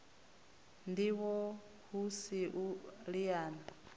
ndivho hu si u liana